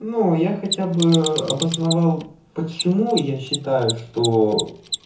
ну я хотя бы обосновал почему я считаю что